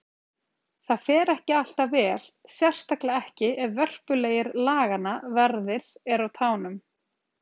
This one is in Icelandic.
Það fer ekki alltaf vel, sérstaklega ekki ef vörpulegir laganna verðir eru á tánum.